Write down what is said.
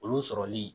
Olu sɔrɔli